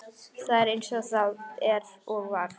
Það er eins og það er og var.